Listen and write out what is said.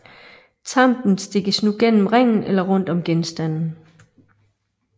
Tampen stikkes nu gennem ringen eller rundt om genstanden